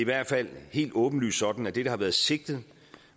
hvert fald helt åbenlyst sådan at det der har været sigtet